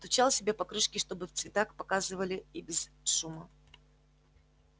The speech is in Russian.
стучал себе по крышке чтобы в цветах показывали и без шума